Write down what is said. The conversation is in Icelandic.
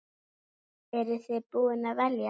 Eru þið búin að velja?